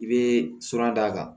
I bɛ fura d'a kan